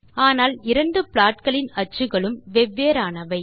ஆனால் இரண்டு ப்லாட்களின் அச்சுக்களும் வெவ்வேறானவை